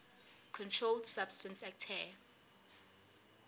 controlled substances acte